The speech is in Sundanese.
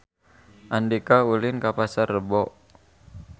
Andika ulin ka Pasar Rebo